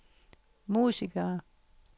musikere